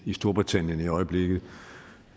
i storbritannien i øjeblikket